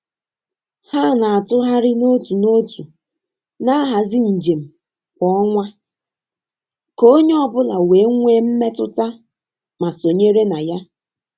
Ha na-atụgharị n'otu n'otu na-ahazi njem kwa ọnwa ka onye ọ bụla wee nwee mmetụta ma sonyere na ya.